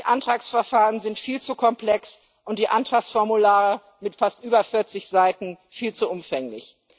Die Antragsverfahren sind viel zu komplex und die Antragsformulare mit fast über 40 Seiten viel zu umfänglich.